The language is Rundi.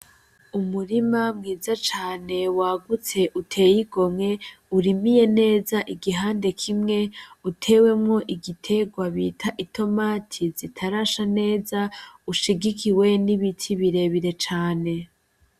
Umurima mwiza cane wagutse uteye igomwe, urimiye neza igihande kimwe, utewemwo igiterwa bita itomati zitarasha neza ushigikiwe n'ibiti birebire cane.